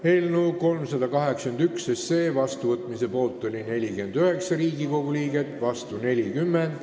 Hääletustulemused Eelnõu 381 seadusena vastuvõtmise poolt on 49 Riigikogu liiget, vastu 40.